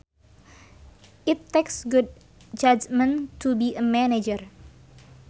It takes good judgment to be a manager